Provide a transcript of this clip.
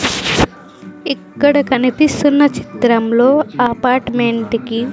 ఇక్కడ కనిపిస్తున్న చిత్రంలో అపార్ట్మెంట్ కి.